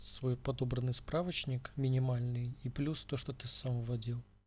свой подобранный справочник минимальный и плюс то что ты сама вводил